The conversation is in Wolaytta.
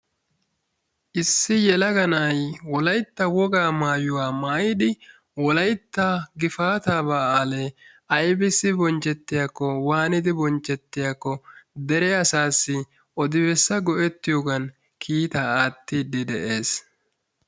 Issi yelaga na"ayi wolaytta wogaa maayuwa maayidi wolaytta gifaataa baalee aybissi bonchchettiyakko waanidi bonchchettiyakko dere asaassi odi bessa go"ettiyogan kiitaa aattiiddi de"es.